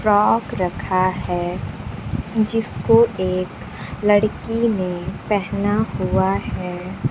Frock रखा है जिसको एक लड़की ने पहना हुआ है।